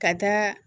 Ka taa